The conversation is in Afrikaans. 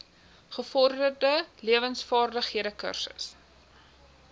gevorderde lewensvaardighede kursus